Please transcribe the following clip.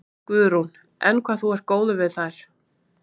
Guðrún: Enn hvað þú ert góður við þær?